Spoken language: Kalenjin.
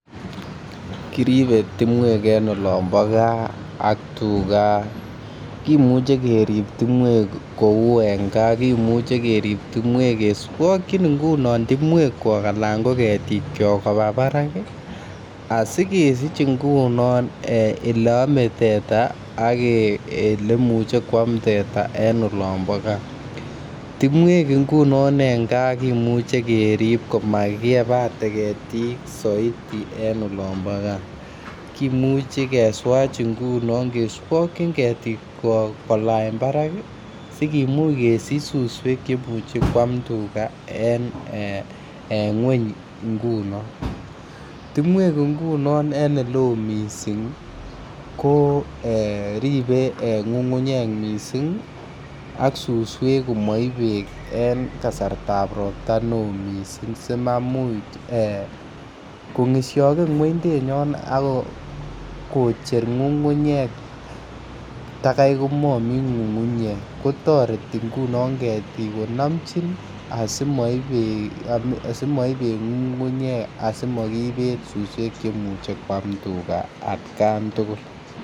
Kiribe timwek en olompo gaa ak tuga kimuche kerib timwek kou en gaa kimuche kerib timwek keswokyin ngunon timwekuok anan ko ketik kiok koba barak ii asikesich ngunon ele amee teta ak eleimuche koam teta en olompo gaaa timwek ngunon en gaa kimuche kerib koma kiyebate ketik soiti en olompo gaa kimuche keswach ngunon keswokyin ketikwok kolany barak sikimuch kesich suswek cheimuche koam tuga en kweny ngunon timwek ngunon en ele oo missing' koribe ng'ung'unyek ak suswek komoib beek en kasrta ab robta nee oo missing' si maimuch kong'isioken ng'uendunyon ak kocher ng'ung'unyek tagai komomi ng'ung'unyek kotoreti ngunon ketik konomchi asimoip beek ng'ungu'nyek asimokibet suswek cheimuche koam tuga atkan tugul